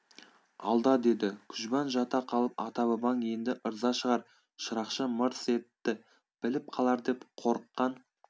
алда деді күжбан жата қалып ата-бабаң енді ырза шығар шырақшы мырс етті біліп қалар деп қорыққан